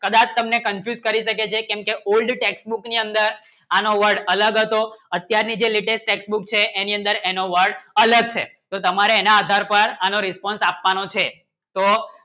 કદાચ તમને કરી શકે છે કેમ કે Old Test book ની અંદર આનો Word અલગ હતો અત્યાર ની જી Latest Test book છે એની અંદર Word અલગ છે તો તમે એના આધાર પર આનો Response આપવાનો છે